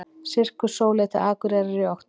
Sirkus Sóley til Akureyrar í október